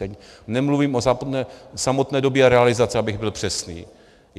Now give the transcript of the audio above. Tady nemluvím o samotné době realizace, abych byl přesný.